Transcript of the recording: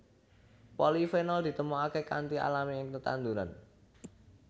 Polifenol ditemokaké kanthi alami ing tetanduran